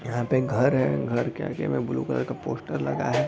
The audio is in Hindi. यहाँ पे एक घर है घर के आगे में ब्लू कलर का पोस्टर लगा है |